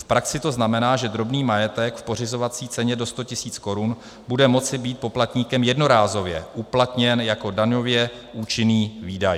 V praxi to znamená, že drobný majetek v pořizovací ceně do 100 000 korun bude moci být poplatníkem jednorázově uplatněn jako daňově účinný výdaj.